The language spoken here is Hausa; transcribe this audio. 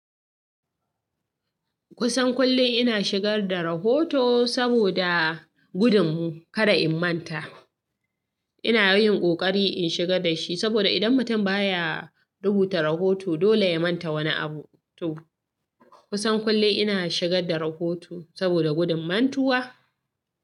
Kusan kullum ina shigar da rahoto saboda gudun kada in manta. Ina yin ƙoƙari in shigar da shi saboda idan mutum ba ya rubuta rahoto, dole ya manta wani abu. To kusan kullum ina shigar da rahoto saboda gudun mantuwa.